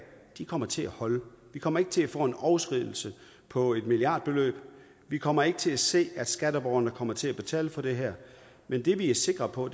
kommer til at holde vi kommer ikke til at få en overskridelse på et milliardbeløb vi kommer ikke til at se at skatteborgerne kommer til at betale for det her men det vi er sikre på